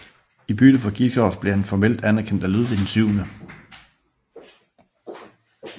I bytte for Gisors blev han formelt anerkendt af Ludvig 7